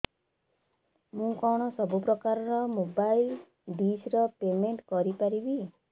ମୁ କଣ ସବୁ ପ୍ରକାର ର ମୋବାଇଲ୍ ଡିସ୍ ର ପେମେଣ୍ଟ କରି ପାରିବି